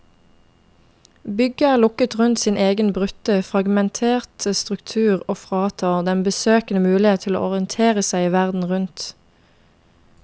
Bygget er lukket rundt sin egen brutte, fragmenterte struktur og fratar den besøkende muligheten til å orientere seg i verden rundt.